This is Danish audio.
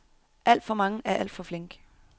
Alt for mange er alt for flinke.